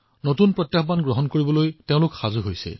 অৰ্থাৎ ৰিস্কৰ সৈতে কাম কৰিবলৈ তেওঁ উদ্বাউল হৈ উঠে